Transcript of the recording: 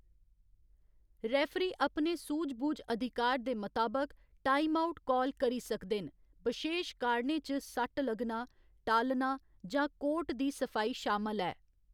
Referee अपने सूझ बूझ अधिकार दे मताबक टाइमआउट काल करी सकदे न, बशेश कारणें च सट्ट लग्गना, टालना जां कोर्ट दी सफाई शामल ऐ।